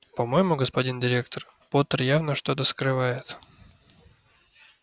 по-моему господин директор поттер явно что-то скрывает